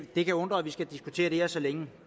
det kan undre at vi skal diskutere det her så længe